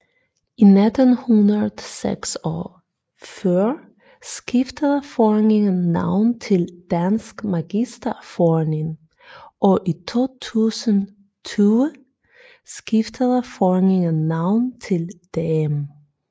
I 1946 skiftede foreningen navn til Dansk Magisterforening og i 2020 skiftede foreningen navn til DM